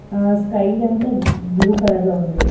ఆ స్కై అంత blue colour లో ఉంది.